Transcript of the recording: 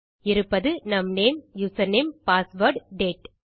இருப்பது நம் name username password date